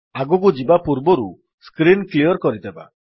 ଆଗକୁ ଯିବା ପୂର୍ବରୁ ସ୍କ୍ରୀନ୍ କ୍ଲିଅର୍ କରିଦେବା